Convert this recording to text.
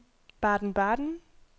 Baden-Baden